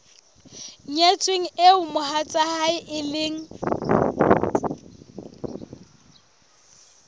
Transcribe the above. nyetsweng eo mohatsae e leng